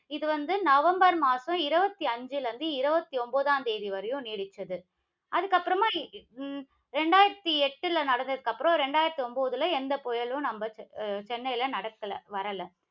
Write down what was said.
இது வந்து நவம்பர் மாதம் இருபத்தி ஐந்துல இருந்து, இருபத்தி ஒன்பதாம் தேதி வரையும் நீடிச்சது. அதுக்கப்புறமா உம் இரண்டாயிரத்தி எட்டுல நடந்ததுக்கு அப்புறம், இரண்டாயிரத்தி ஒன்பதுல எந்த புயலும் நம்ப அஹ் சென்னைக்கு நடக்கல. வரல.